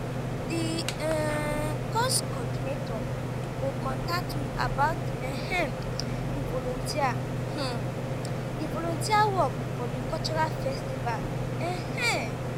di um course coordinator go contact me about um di volunteer um di volunteer work for di cultural festival. um